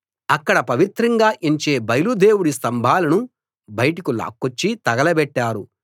అక్కడ పవిత్రంగా ఎంచే బయలు దేవుడి స్తంభాలను బయటకు లాక్కొచ్చి తగలబెట్టారు